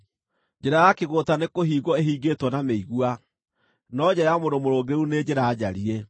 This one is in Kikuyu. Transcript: Njĩra ya kĩgũũta nĩkũhingwo ĩhingĩtwo na mĩigua, no njĩra ya mũndũ mũrũngĩrĩru nĩ njĩra njariĩ.